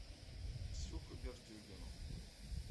ксюху бердюгину